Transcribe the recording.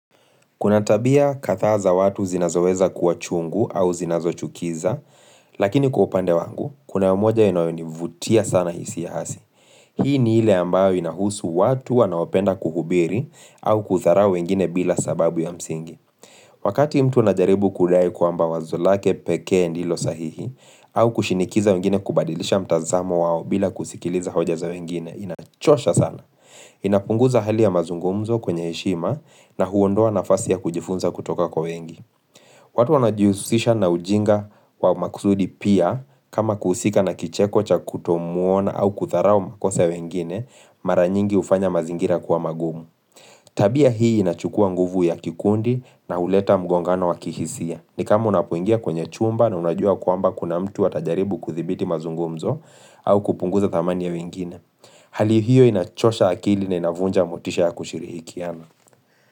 Kuna tabia kadhaa za watu zinazoweza kuwa chungu au zinazochukiza, lakini kwa upande wangu, kuna moja inayonivutia sana hisi ya hasi. Hii ni ile ambayo inahusu watu wanaopenda kuhubiri au kudharau wengine bila sababu ya msingi. Wakati mtu anajaribu kudai kwamba wazo lake pekee ndilo sahihi, au kushinikiza wengine kubadilisha mtazamo wao bila kusikiliza hoja za wengine, inachosha sana. Inapunguza hali ya mazungumzo kwenye heshima, na huondoa nafasi ya kujifunza kutoka kwa wengi watu wanajihusisha na ujinga wa makusudi pia kama kuhusika na kicheko cha kutomuona au kudharau makosa ya wengine mara nyingi hufanya mazingira kuwa magumu Tabia hii inachukua nguvu ya kikundi, na huleta mgongano wa kihisia. Ni kama unapoingia kwenye chumba na unajua kwamba kuna mtu atajaribu kuthibiti mazungumzo au kupunguza thamani ya wengine Hali hiyo inachosha akili na inavunja motisha ya kushirihikiana.